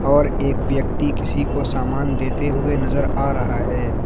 और एक व्यक्ति किसी को सामान देते हुए नजर आ रहा है।